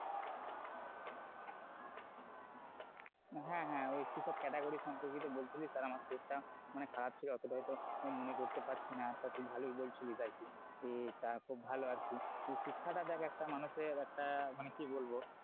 হ্যাঁ হ্যাঁ ওই কিসব category র সম্পর্কে তো বলছিলি আর আমার শরীরটা মানে খারাপ ছিল অতটা হয়তো মনে করতে পারছি না তা তুই তো ভালোই বলছিস আর কি আহ তা খুব ভালই আর কি শিক্ষাটা দেখ একটা মানুষের একটা মানে বলবো,